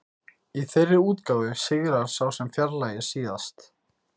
Í þeirri útgáfu sigrar sá sem fjarlægir síðast.